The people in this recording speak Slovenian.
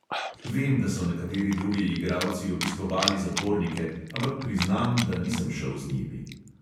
Vem, da so nekateri drugi igralci obiskovali zapornike, ampak priznam, da nisem šel z njimi.